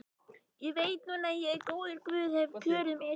Ég veit núna að góður guð hefur kjörið mig.